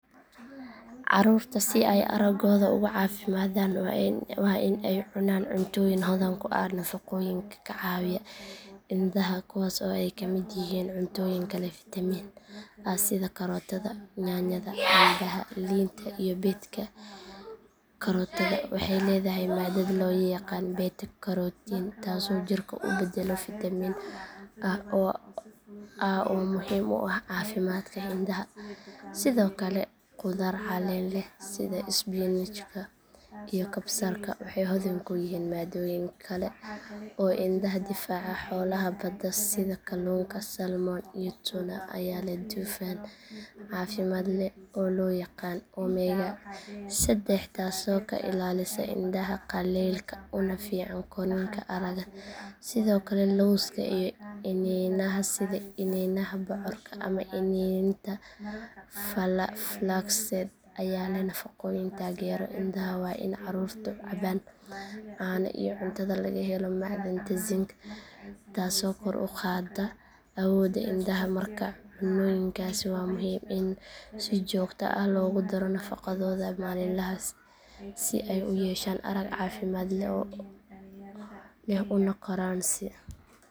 Ccarrurta si ay araggooda uga caafimaadaan waa in ay cunaan cuntooyin hodan ku ah nafaqooyinka ka caawiya indhaha kuwaas oo ay kamid yihiin cuntooyinka leh fitamiin a sida karootada yaanyada cambaha liinta iyo beedka karootada waxay leedahay maadad loo yaqaan beta karotiin taasoo jirka u beddelo fitamiin a oo muhiim u ah caafimaadka indhaha sidoo kale khudaar caleen leh sida isbinaajka iyo kabsarka waxay hodan ku yihiin maadooyin kale oo indhaha difaaca xoolaha badda sida kalluunka salmon iyo tuna ayaa leh dufan caafimaad leh oo loo yaqaan omega seddex taasoo ka ilaalisa indhaha qallaylka una fiican korriinka aragga sidoo kale lowska iyo iniinaha sida iniinaha bocorka ama iniinta flaxseed ayaa leh nafaqooyin taageera indhaha waa in carruurtu cabaan caano iyo cuntada laga helo macdanta zinc taasoo kor u qaadda awoodda indhaha markaa cunnooyinkaasi waa muhiim in si joogto ah loogu daro nafaqadooda maalinlaha ah si ay u yeeshaan arag caafimaad leh una koraan si caafimaad dhamaystiran leh